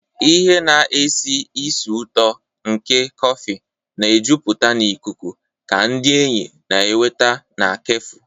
Ihe na-esi ísì ụtọ nke kọfị na-ejupụta ikuku ka ndị enyi na-enweta na kefu.